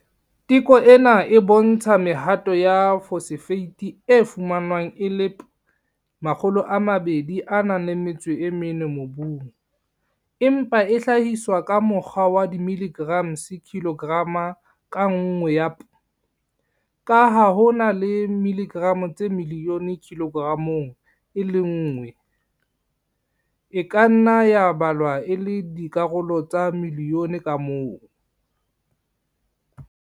Teko ena e bontsha mehato ya phosphate e fumanwang e le P2O4 mobung, empa e hlahiswa ka mokgwa wa dimilligrams kilograma ka nngwe ya P. Ka ha ho na le milligram tse milione kilogramong e le nngwe, e ka nna ya balwa e le dikarolo tsa milione ka mong.